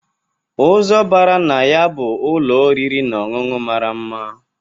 Ụzọ bara na ya bụ ụlọ oriri na ọṅụṅụ mara mma.